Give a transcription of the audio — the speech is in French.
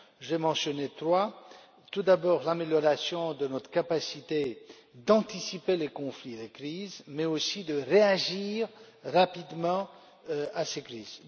J'en ai mentionné trois tout d'abord, l'amélioration de notre capacité d'anticiper les conflits et les crises, mais aussi de réagir rapidement à ces crises.